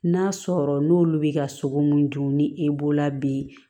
N'a sɔrɔ n'olu bɛ ka sogo mun dun ni e bolo la bi